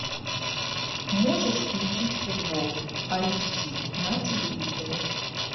можешь включить футбол айч ди на телевизоре